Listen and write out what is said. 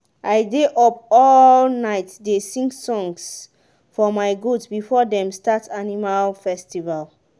i dey up all night dey sing songs for my goat before them start animal festival